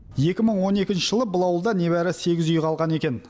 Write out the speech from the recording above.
екі мың он екінші жылы бұл ауылда небәрі сегіз үй қалған екен